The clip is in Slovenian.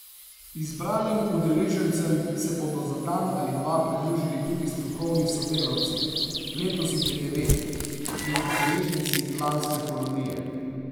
Izbranim udeležencem se bodo za dan ali dva pridružili tudi strokovni sodelavci, letos jih je devet, in udeleženci lanske kolonije.